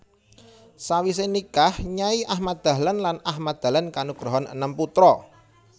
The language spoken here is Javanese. Sawise nikah Nyai Ahmad Dahlan lan Ahmad Dahlan kanugrahan enem putra